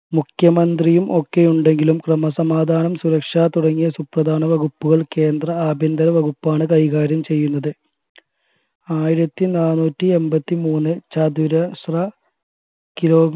മുഖ്യമത്രിയും ഒക്കെയുണ്ടെങ്കിലും ക്രമാസമാദാനം സുരക്ഷാ തുടങ്ങിയ സുപ്രദാന വകുപ്പുകൾ കേന്ദ്ര ആഭ്യന്തര വകുപ്പാണ് കൈകാര്യം ചെയുന്നത് ആയിരത്തി നാന്നൂറ്റി എൺപത്തി മൂന്നിൽ ചതുരശ്ര kilo